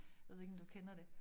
Jeg ved ikke om du kender det